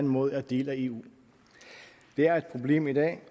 måde er en del af eu det er et problem i dag